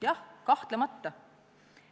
Jah, kahtlemata.